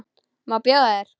Má bjóða þér?